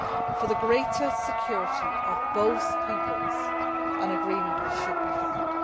for the greater security of both peoples, an agreement should be found.